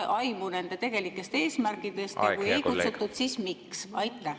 … et saada aimu nende tegelikest eesmärkidest, ja kui ei kutsutud, siis miks?